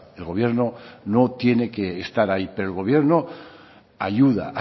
el gobierno no tiene que estar ahí pero el gobierno ayuda